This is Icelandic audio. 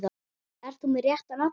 Ert þú með rétta nafnið?